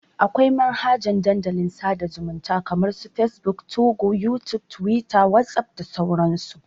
Akwai manhajan Dandalin sada zumunta kama su facebook, 2go, youtube, twitter, whatsapp da sauran su.